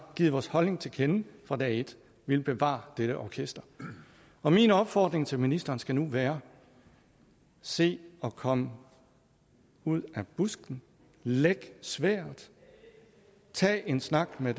givet vores holdning til kende fra dag et vi vil bevare dette orkester min opfordring til ministeren skal nu være se at komme ud af busken læg sværdet tag en snak med